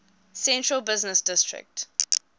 central business district